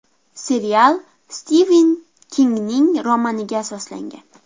Serial Stiven Kingning romaniga asoslangan.